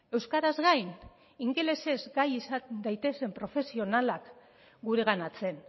euskaraz gain ingelesez gai izan gaitezen profesionalak gureganatzen